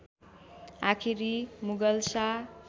आखिरी मुगल शाह